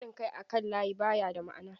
Haɗin kai akan layi ba ya da ma'ana.